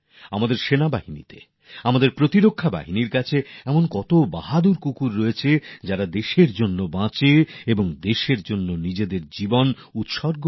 আমাদের সেনাদের মধ্যে আমাদের নিরাপত্তা বাহিনীর মধ্যে এমন কত বাহাদুর কুকুর রয়েছে ডগস আছে যারা দেশের জন্য বাঁচে দেশের জন্য নিজেদের জীবন বিসর্জন দেয়